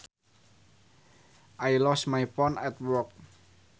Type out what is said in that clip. I lost my phone at work